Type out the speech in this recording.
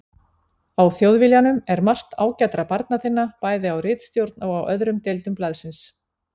Á Þjóðviljanum er margt ágætra barna þinna, bæði á ritstjórn og á öðrum deildum blaðsins.